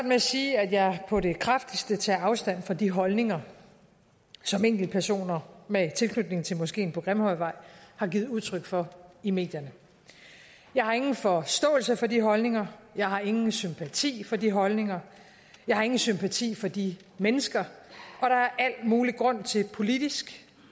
med at sige at jeg på det kraftigste tager afstand fra de holdninger som enkeltpersoner med tilknytning til moskeen på grimhøjvej har givet udtryk for i medierne jeg har ingen forståelse for de holdninger jeg har ingen sympati for de holdninger jeg har ingen sympati for de mennesker og der er al mulig grund til politisk